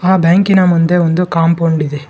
ಆ ಬ್ಯಾಂಕಿನ ಮುಂದೆ ಒಂದು ಕಾಂಪೌಂಡ್ ಇದೆ.